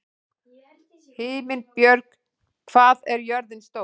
Himinbjörg, hvað er jörðin stór?